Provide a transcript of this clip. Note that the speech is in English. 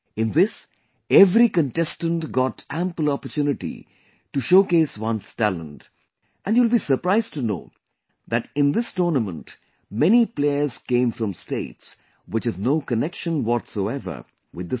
In this, every contestant got ample opportunity to showcase one's talent and you will be surprised to know that in this tournament many players came from states which have no connection whatsoever with the sea